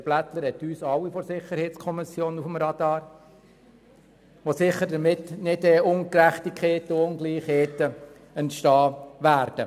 Herr Blättler hat alle SiK-Mitglieder auf dem Radar, sodass sicher keine Ungerechtigkeiten und Ungleichheiten entstehen werden.